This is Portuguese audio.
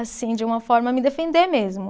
Assim, de uma forma, me defender mesmo.